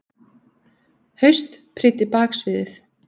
haust, prýddi baksviðið.